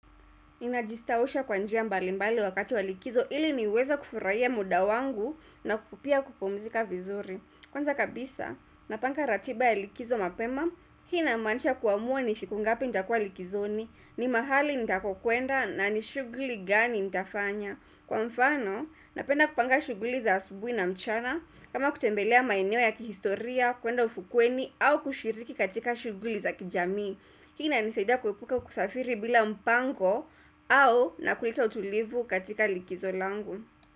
Nina jistawusha kwa njia mbalimbali wakati wa likizo ili niweze kufurahia muda wangu na pia kupumzika vizuri. Kwanza kabisa, napanga ratiba ya likizo mapema, hii inamaanisha kuamua ni siku ngapi nitakua likizoni, ni mahali nitakokuenda na ni shuguli gani nitafanya. Kwa mfano, napenda kupanga shuguli za asubuhi na mchana, kama kutembelea maeneo ya kihistoria, kuenda ufukweni, au kushiriki katika shughuli za kijamii. Hii inanisaida kuepuka kusafiri bila mpango au na kuleta utulivu katika likizo langu.